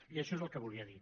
i això és el que volia dir